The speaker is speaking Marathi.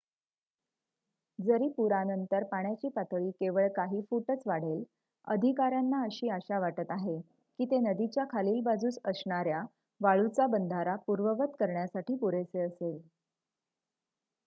जरी पुरानंतर पाण्याची पातळी केवळ काही फूटच वाढेल अधिकाऱ्यांना अशी आशा वाटत आहे की ते नदीच्या खालील बाजूस असणाऱ्या वाळूचा बंधारा पूर्ववत करण्यासाठी पुरेसे असेल